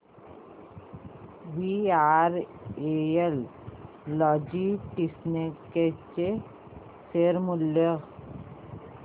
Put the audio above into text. VRL Logistics चे share मूल्य